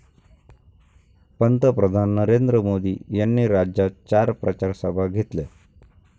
पंतप्रधान नरेंद्र मोदी यांनी राज्यात चार प्रचारसभा घेतल्या.